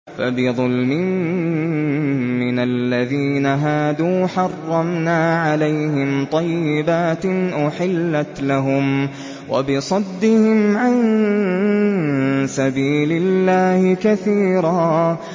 فَبِظُلْمٍ مِّنَ الَّذِينَ هَادُوا حَرَّمْنَا عَلَيْهِمْ طَيِّبَاتٍ أُحِلَّتْ لَهُمْ وَبِصَدِّهِمْ عَن سَبِيلِ اللَّهِ كَثِيرًا